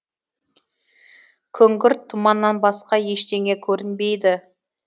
күңгірт тұманнан басқа ештеңе көрінбейді